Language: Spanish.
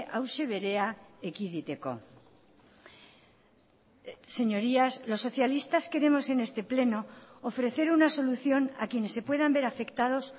hauxe berea ekiditeko señorías los socialistas queremos en este pleno ofrecer una solución a quienes se puedan ver afectados